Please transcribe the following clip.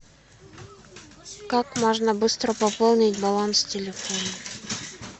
как можно быстро пополнить баланс телефона